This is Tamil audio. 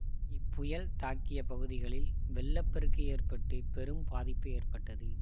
இப்புயல் தாக்கிய பகுதிகளில் வெள்ள பெருக்கு ஏற்பட்டு பெரும் பாதிப்பு ஏற்பட்டது